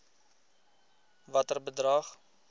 watter bedrag